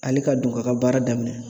Ale ka don k'a ka baara daminɛ